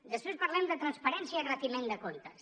després parlem de transparència i retiment de comptes